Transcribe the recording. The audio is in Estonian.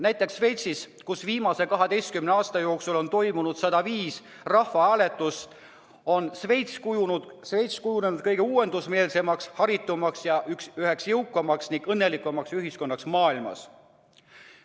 Näiteks Šveits, kus viimase 12 aasta jooksul on toimunud 105 rahvahääletust, on kujunenud kõige uuendusmeelsemaks, haritumaks ning üheks kõige jõukamaks ja õnnelikumaks ühiskonnaks maailmas.